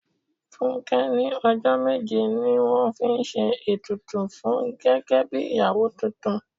Fúnké ní ọjọ́ méje ni wọ́n fi ṣe ètùtù fún gẹ́gẹ́ bí ìyàwó tuntun.